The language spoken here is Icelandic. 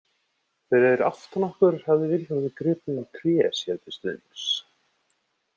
Fyrir aftan okkur hafði Vilhjálmur gripið um tré sér til stuðnings.